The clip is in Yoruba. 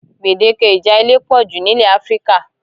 Gbedeke ìjà ilé pọ jù n'ilẹ̀ Áfíríkà.